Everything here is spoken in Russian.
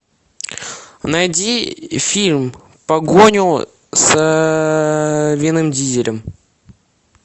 найди фильм погоню с вином дизелем